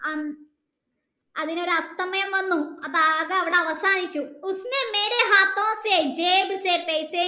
അതിനൊരു അസ്തമയം വന്നു അപ്പൊ ആകെ അവിടെ അവസാനിച്ചു